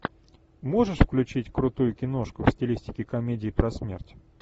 можешь включить крутую киношку в стилистике комедии про смерть